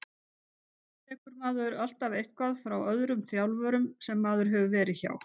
Auðvitað tekur maður alltaf eitthvað frá öllum þjálfurum sem maður hefur verið hjá.